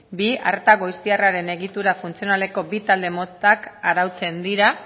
bi arreta goiztiarraren egitura funtzionaleko bi talde motak arautzen dira